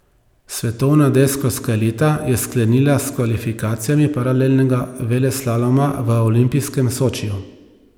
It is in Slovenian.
Svetovna deskarska elita je sklenila s kvalifikacijami paralelnega veleslaloma v olimpijskem Sočiju.